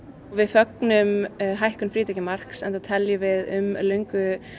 við fögnum hækkun frítekjumarks enda teljum við um löngu